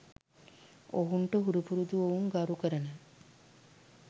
ඔවුන්ට හුරුපුරුදු ඔවුන් ගරුකරන